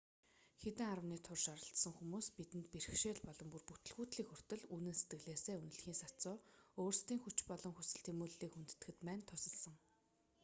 хэдэн аравны турш оролцсон хүмүүс бидэнд бэрхшээл болон бүр бүтэлгүйтлийг хүртэл үнэн сэтгэлээсээ үнэлэхийн сацуу өөрсдийн хүч болон хүсэл тэмүүллийг хүндэтгэхэд маань тусалсан